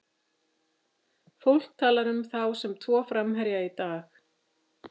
Fólk talar um þá sem tvo framherja í dag.